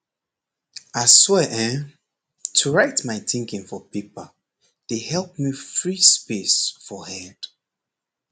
aswear[um]to write my thinking for paper dey help me free space for head